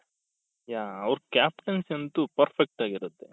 yeah ಅವ್ರ captaincy ಅಂತು perfect ಆಗಿರುತ್ತೆ.